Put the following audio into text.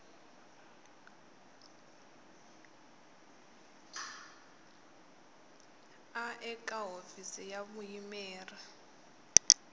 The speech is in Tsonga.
a eka hofisi ya vuyimeri